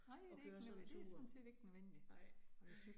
Nej det ikke, det sådan set ikke nødvendigt, nej